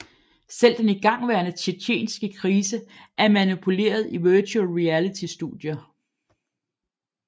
Selv den igangværende tjetjenske krise er manipuleret i Virtual Reality studier